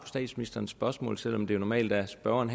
statsministeren spørgsmål selv om det jo normalt er spørgeren